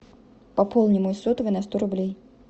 пополни мой сотовый на сто рублей